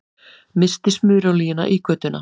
Missti smurolíuna í götuna